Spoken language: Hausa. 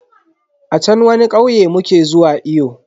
A chan wani kauye muke zuwa iyo.